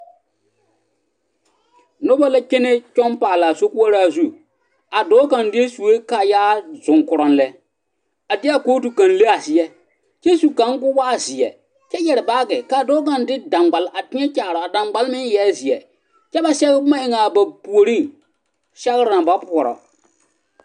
Nobɔ kyɛnɛ kyɔŋ paalaa sokoɔraa zu a dɔɔ kaŋ deɛ sue kaayaa zoŋkoroŋ lɛ a deɛ a kootu kaŋ le a seɛ kyɛ su kaŋ koo waa zeɛ kyɛ yɛre baage kaa dɔɔ kaŋ de daŋgbal a teɛ kaaraa daŋgbal meŋ eɛɛ zeɛ kyɛ ba sɛge boma eŋaa a ba puoreŋ sɛgre naŋ ba puorɔ.